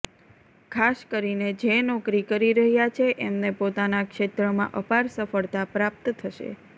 ખાસ કરીને જે નોકરી કરી રહ્યા છે એમને પોતાના ક્ષેત્રમાં અપાર સફળતા પ્રપાત થશે